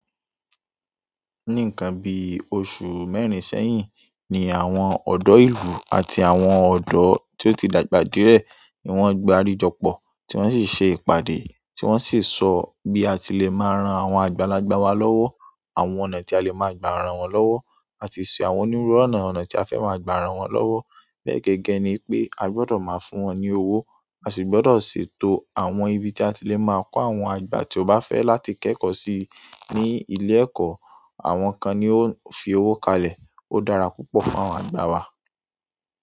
Ni ìkan bi osùn mẹ́rin sẹ́yìn ni àwọn ọdọ ìlú àti àwọn ọdọ ti o ti dàgbà díẹ̀ ni won gbarijopo ti won si ìpàdé ti won si so bi àti le maa n ran àwọn àgbàlagbà wa lọwọ àwọn ọ̀nà tí a le maa gba ran wọn lọwọ. Àti ṣe àwọn onírúurú ọ̀nà ọ̀nà tí a fẹ́ máa gbà ran wọn lọ́wọ́. Gẹ́gẹ́ ni pé a gbọdọ̀ máa fún wọn ní owó, a sì gbọdọ̀ ṣètò àwọn ibi tí a ti lè máa kó àwọn àgbà tí ó bá fẹ́ láti kẹ́kọ̀ọ́ sí i ní ilé ẹ̀kọ́. Àwọn kan ni ó ń fi owó kalẹ̀. Ó dára púpọ̀ fún àwọn àgbà wa.